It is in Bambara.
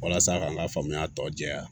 Walasa k'an ka faamuya tɔ jɛya